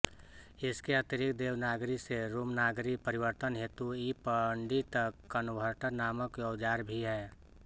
इसके अतिरिक्त देवनागरी से रोमनागरी परिवर्तन हेतु ईपण्डित कन्वर्टर नामक औजार भी है